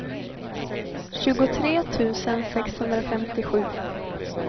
tjugotre tusen sexhundrafemtiosju